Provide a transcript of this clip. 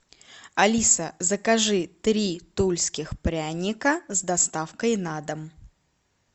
алиса закажи три тульских пряника с доставкой на дом